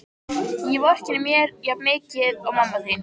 Ég vorkenni mér jafnmikið og mamma þín.